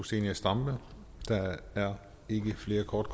zenia stampe der er ikke flere korte